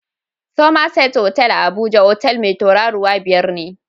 Summerset otal a Abuja, otal mai tauraruwa biyar ne